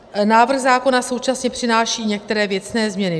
Návrh zákona současně přináší některé věcné změny.